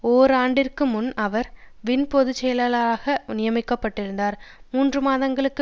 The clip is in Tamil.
ஓராண்டிற்கு முன் அவர் வின் பொது செயலாளராக நியமிக்க பட்டிருந்தார் மூன்று மாதங்களுக்கு